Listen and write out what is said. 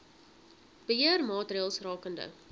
beheer maatreëls rakende